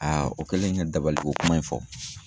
o kɛlen ka dabaliko kuma in fɔ.